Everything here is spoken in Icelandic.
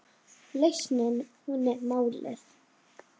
Lausnin hún er málið.